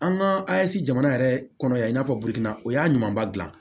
An ka asi jamana yɛrɛ kɔnɔ yan i n'a fɔ bigin na o y'a ɲumanba dilan